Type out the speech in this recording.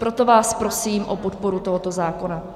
Proto vás prosím o podporu tohoto zákona.